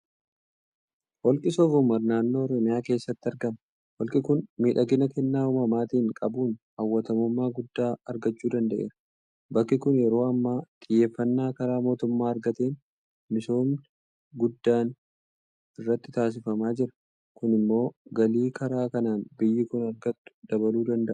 Holqi Soofumar naannoo Oromiyaa keessatti argama. Holqi kun miidhagina kennaa uumamaatiin qabuun hawwattummaa guddaa argachuu danda'eera. Bakki kun yeroo ammaa xiyyeeffannaa karaa mootummaa argateen misoomni guddaan irratti taasifamaa jira. Kun immoo galii karaa kanaan biyyi kun argattu dabaluu danda'a.